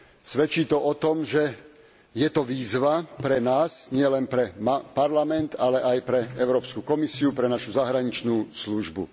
Svedčí to o tom, že je to výzva pre nás nielen pre Parlament, ale aj pre Európsku komisiu, pre našu zahraničnú službu.